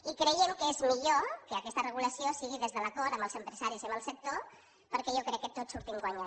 i creiem que és millor que aquesta regulació sigui des de l’acord amb els empresaris i amb el sector perquè jo crec que tots hi sortim guanyant